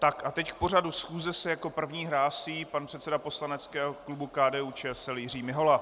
Tak a teď k pořadu schůze se jako první hlásí pan předseda poslaneckého klubu KDU-ČSL Jiří Mihola.